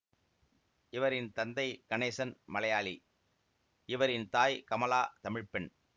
இவரின் தந்தை கணேசன் மலையாளி இவரின் தாய் கமலா தமிழ் பெண்